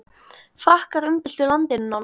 Frakkar umbyltu landinu nánast.